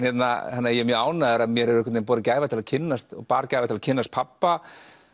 þannig að ég er mjög ánægður að mér hefur borið gæfa til að kynnast og bar gæfa til að kynnast pabba